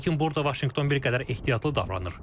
Lakin burada Vaşinqton bir qədər ehtiyatlı davranır.